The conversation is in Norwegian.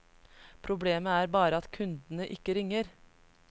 Problemet er bare at kundene ikke ringer.